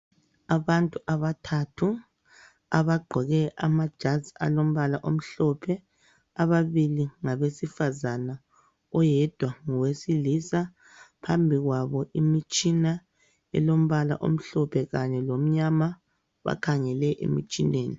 Abantu abathathu abagqoke amajazi alombala omhlophe ababili ngabesifazana oyedwa ngowesilisa phambi kwabo imitshina elombala omhlophe Kanye lomnyama bakhangele emtshineni.